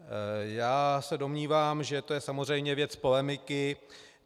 Já se domnívám, že to je samozřejmě věc polemiky.